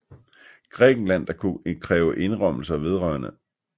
Grækenland der kunne kræve indrømmelser vedr